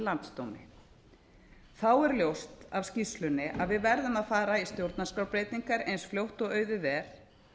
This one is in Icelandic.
landsdómi þá er ljóst af skýrslunni að við verðum að fara í stjórnarskrárbreytingar eins fljótt og auðið er